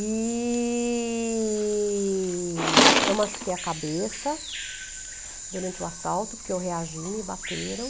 E eu machuquei a cabeça durante o assalto, porque eu reagi, me bateram.